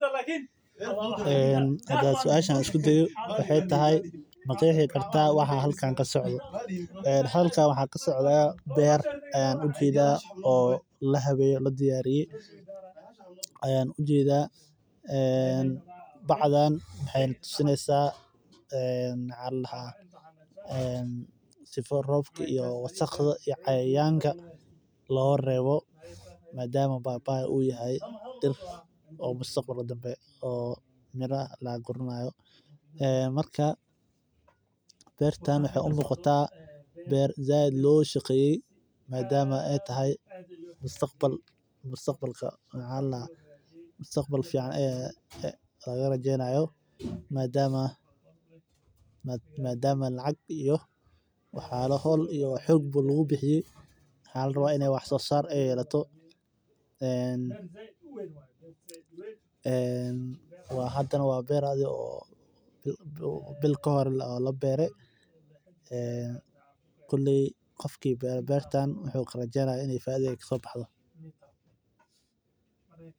Ee hadan suasha isku dayo maxaa waye maqexi kartaa waxa halkan kasocdo halkan waxan ujeda beer lahaweye oo ladiyariye bacdan maxee natusesa si loga rebo madama bai bai ee tahay beertan waxee u egtahay in aad loga shaqeye waxaa laga rawa I ee wax sosar ee lahato koley qofki beertan iska leh wuxuu karajeyni ini u bero aad iyo aad u fara badan aya kusafra maasai mara sawabto ah waa geed sifican u aad keste cabaraha waxaa ladehe xidhito qota deer oo uleh awod ee nugan biya hos tas oo kadigeysa in ee u imadhan oo ee ka faideystan sas ayan u arkii haya.